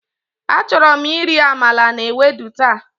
Achorom iri amala na ewedu ta.